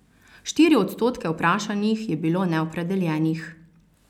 Štiri odstotke vprašanih je bilo neopredeljenih.